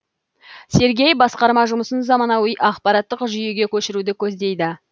сергей басқарма жұмысын заманауи ақпараттық жүйеге көшіруді көздейді